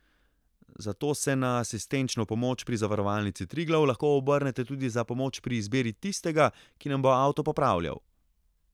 Zato se na asistenčno pomoč pri Zavarovalnici Triglav lahko obrnete tudi za pomoč pri izbiri tistega, ki nam bo avto popravljal.